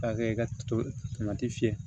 K'a kɛ ka to tomati fiyɛ